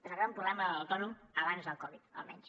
és el gran problema de l’autònom abans del covid almenys